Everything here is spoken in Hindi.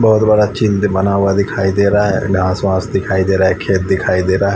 बहुत बड़ा चिंद्ध बना हुआ दिखाई दे रहा है घास वास दिखाई दे रहा है खेत दिखाई दे रहा --